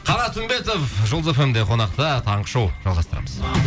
қанат үмбетова жұлдыз фм де қонақта таңғы шоу жалғастырамыз